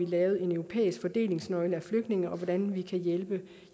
lavet en europæisk fordelingsnøgle for flygtninge og hvordan vi kan hjælpe